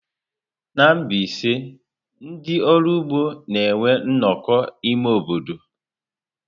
Na Mbaise, ndị ọrụ ụgbọ na-enwe nnọkọ ime obodo.